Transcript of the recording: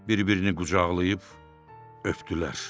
Bir-birini qucaqlayıb öpdülər.